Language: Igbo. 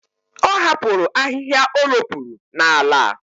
Ọ hapụrụ ahịhịa o ropuru n'ala.